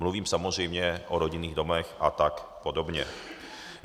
Mluvím samozřejmě o rodinných domech a tak podobně.